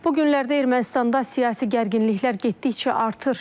Bu günlərdə Ermənistanda siyasi gərginliklər getdikcə artır.